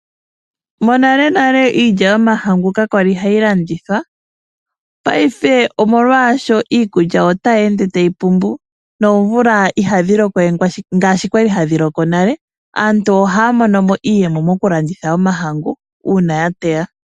Monalenale iilya yomahangu kakwali hayi landithwa paife molwaasho iikulya otayi ende tayi pumbu nomvula ihayi lokowe ngaashi kwali hadhi loko nale. Aantu ohaya monomo iiyemo mokulanditha omahangu uuna yateya.